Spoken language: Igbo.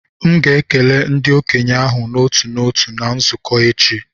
M ga na-ekele ndị okenye ahụ n'otu n'otu na nzukọ echi